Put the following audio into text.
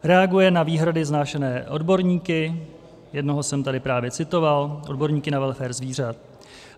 Reaguje na výhrady vznášené odborníky, jednoho jsem tady právě citoval, odborníky na welfare zvířat.